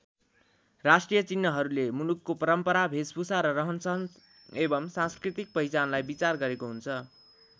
राष्ट्रिय चिह्नहरूले मुलुकको परम्परा भेषभूषा र रहनसहन एवम् सांस्कृतिक पहिचानलाई विचार गरेको हुन्छ।